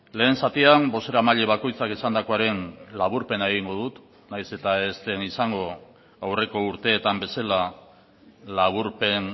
lehen zatian bozeramaile bakoitzak esandakoaren laburpena egingo dut nahiz eta ez den izango aurreko urteetan bezala laburpen